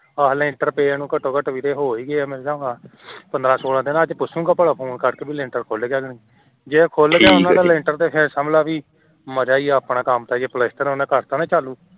ਹਾਂ ਲੈਂਟਰ ਪਏ ਨੂੰ ਵੀਰੇ ਹੋ ਈ ਗਏ ਐ ਪੰਦਰਾਂ ਸੋਲਾਂ ਦਿਨ ਅੱਜ ਪੁੱਛੂਗਾਂ ਭਲਾਂ phone ਕਰਕੇ ਭਲਾ ਲੈਂਟਰ ਖੁਲ ਗਯਾ ਕੇ ਨਹੀਂ